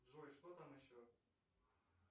джой что там еще